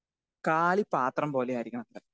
Speaker 2 കാലി പാത്രം പോലെ ആയിരിക്കണമെന്ന്.